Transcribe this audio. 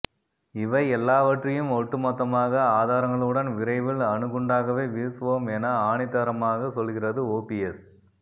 இவை எல்லாவற்றையும் ஒட்டுமொத்தமாக ஆதாரங்களுடன் விரைவில் அணுகுண்டாகவே வீசுவோம் என ஆணித்தரமாக சொல்கிறது ஓபிஎஸ்